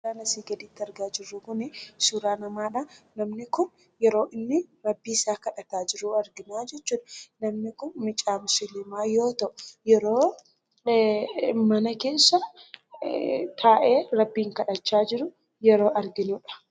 Suuraan asii gaditti argaa jirru kun kun suuraa namaadha. Namni kun yeroo inni rabbii isaa kadhataa jiru arginaa jechuudha. Namni kun mucaa musliimaa yoo ta'u, yeroo mana keessa taa'ee rabbiin kadhachaa jiru yeroo arginudha.